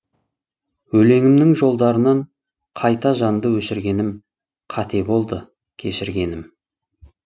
өлеңімнің жолдарынан қайта жанды өшіргенім қате болды кешіргенім